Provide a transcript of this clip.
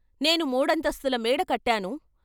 నేను మూడంతస్తుల మేడ కట్టాను.